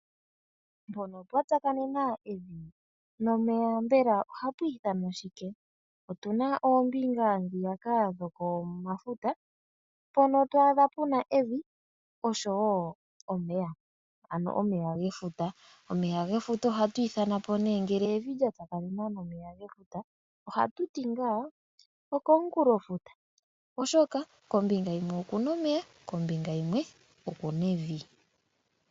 Mpono pwa tsakanena evi nomeya mbela ohapwii thanwa shike? Otuna oombinga ndhiyaka dhokomafuta mpono twaadha puna evi oshowo omeya ano omeya gefuta. Omeya gefuta ohatu ithana po nee ngele evi lya tsakanena nomeya ge futa ohatu ti ngaa okomunkulofuta, oshoka kombinga yimwe okuna omeya kombinga yimwe okuna evi.